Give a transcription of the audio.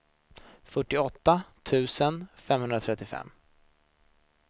fyrtioåtta tusen femhundratrettiofem